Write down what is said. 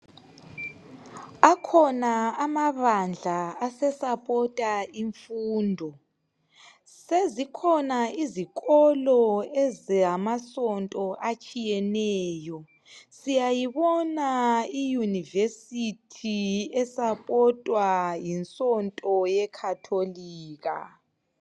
Akhona amabandla asesapota imfundo. Sezikhona izikolo ezamasonto atshiyeneyo. Siyayibona iyunivesithi esapotwa yinsonto yekhatolika.